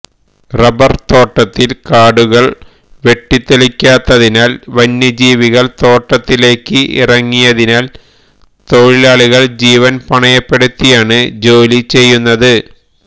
rubber തോട്ടത്തില് കാടുകള് വെട്ടി തെളിക്കാത്തതിനാല് വന്യജീവികള് തോട്ടത്തിലേക്ക് ഇറങ്ങിയതിനാല് തൊഴിലാളികള് ജീവന് പണയപ്പെടുത്തിയാണ് ജോലി ചെയ്യുന്നത്